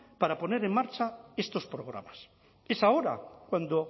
para poner en marcha estos programas es ahora cuando